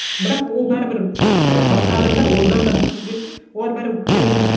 бірақ ол бәрібір мысалы басқа адамдар одан да мықты сөйлесін олар бәрібір көтерілмейді